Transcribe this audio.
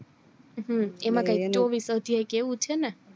હમ એમાં કાય ચોવીશ અધ્યાય કે એવું છે ને